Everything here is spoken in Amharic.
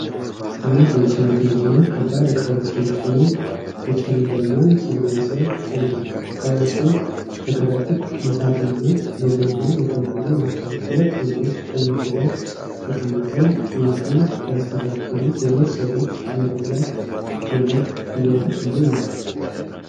አንድ የጭነት መኪና ከባድ እቃዎችን ጭኖ በጨለመ ሰማይ ስር ቁሟል ። እቃዎቹ በከረጢት፣ በሳጥንና በጎማ የተሞሉ ናቸው። ሁለት ወንዶች ጭነቱ ላይ ተቀምጠው ጭነቱን ሲያስተካክሉ፣ ሌሎች ሰዎች መሬት ላይ ገመድ እየወጠሩ ነው።